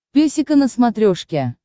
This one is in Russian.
песика на смотрешке